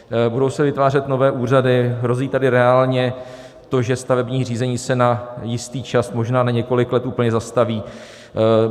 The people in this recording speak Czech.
Budou se vytvářet nové úřady, hrozí tady reálně to, že stavební řízení se na jistý čas, možná na několik let, úplně zastaví.